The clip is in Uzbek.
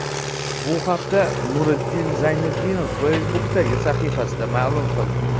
Bu haqda Nuriddin Zayniddinov Facebook’dagi sahifasida ma’lum qildi .